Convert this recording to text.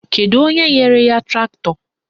Kedu onye nyere ya traktọ?